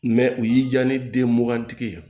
u y'i diya ne den mugan tigi ye